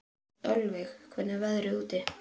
Ölveig, hvernig er veðrið í dag?